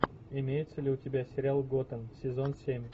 имеется ли у тебя сериал готэм сезон семь